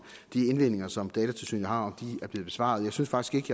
de indvendinger som datatilsynet har er blevet besvaret jeg synes faktisk